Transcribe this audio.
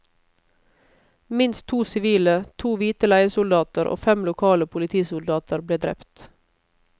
Minst to sivile, to hvite leiesoldater og fem lokale politisoldater ble drept.